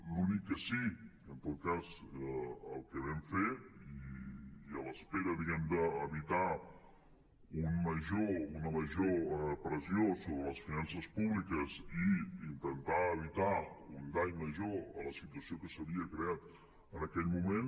l’únic que sí en tot cas vam fer i en espera d’evitar una major pressió sobre les finances públiques i intentar evitar un dany major a la situació que s’havia creat en aquell moment